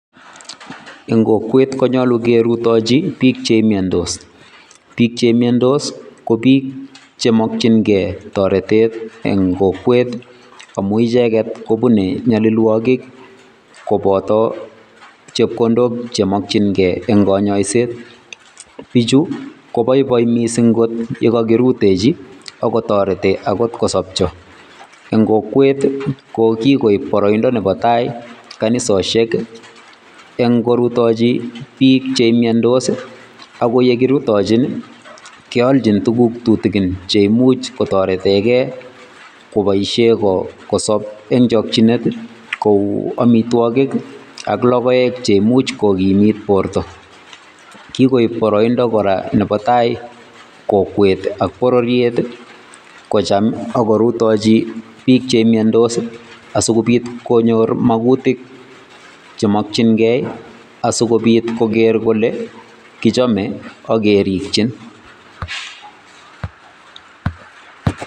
Eng kokwet konyolu kerutochi biik chemiondos, biik chemiondos ko biik chemokying'e toretet en kokwet amun icheket kobune nyolilwokik koboto chepkondok chemokying'e en konyoiset, bichu koboiboi kot mising yekokirutechi ak kotoreti akot kosopcho, en kokwet ko kikoip boroindo nebo taai kanisoshek eng' korutochi biik chemiondos ak ko yekirutochin keolchin tukuk tutukin cheimuch kotoreteke koboishe kosob en chokyinet Kou amitwokik ak lokoek cheimuch kokimit borto, kikoib boroindo kora nebo taai kokwet ak bororiet kocham ak korutochi biik chemiondos asikobit konyor makutik chemokying'e asikobit koker kolee kichome ak kerikyin.